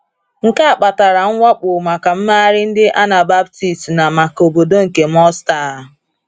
Nke a kpatara mwakpo maka mmegharị ndị Anabaptist na maka obodo nke Münster.